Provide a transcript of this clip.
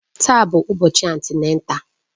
Taa bụ ụbọchị antịnátál